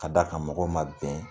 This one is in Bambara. Ka d'a kan mɔgɔw ma bɛn